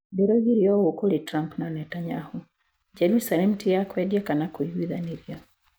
Ndĩroigire ũũ kũrĩ Trump na Netanyahu: Jerusalemu ti ya kwendia kana kũiguithanĩrio.